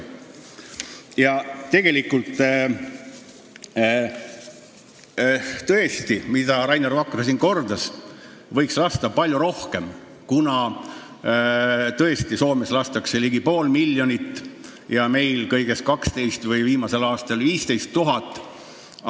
Tegelikult, nagu Rainer Vakra siin kordas, võiks lasta palju rohkem, sest tõesti lastakse Soomes ligi pool miljonit lindu ja meil kõigest 12 000, viimasel aastal lasti 15 000.